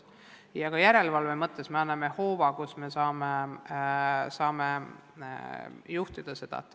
Ja ka järelevalve mõttes me anname vahendi selle juhtimiseks.